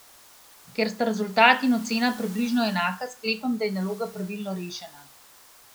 Ker sta rezultat in ocena približno enaka, sklepam, da je naloga pravilno rešena.